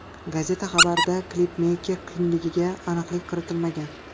Gazeta xabarida klipmeyker kimligiga aniqlik kiritilmagan.